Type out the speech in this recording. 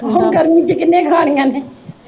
ਹੁਣ ਗਰਮੀ ਚ ਕਿਨ੍ਹੇ ਖਾਣੀਆਂ ਨੇ